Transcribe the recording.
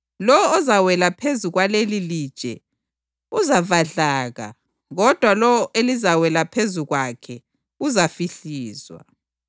Lowo ozawela phezu kwalelilitshe uzavadlaka kodwa lowo elizawela phezu kwakhe uzafihlizwa.”